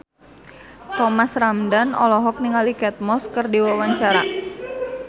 Thomas Ramdhan olohok ningali Kate Moss keur diwawancara